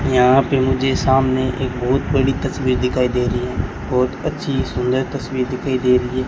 यहां पे मुझे सामने एक बहुत बड़ी तस्वीर दिखाई दे रही है बहोत अच्छी सुंदर तस्वीर दिखाई दे रही है।